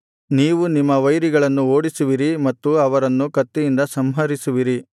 ನೀವು ನಿಮ್ಮ ವೈರಿಗಳನ್ನು ಓಡಿಸುವಿರಿ ಮತ್ತು ಅವರನ್ನು ಕತ್ತಿಯಿಂದ ಸಂಹರಿಸುವಿರಿ